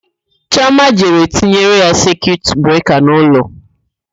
Chioma jere tinyere ya sekiut breka n'ụlọ.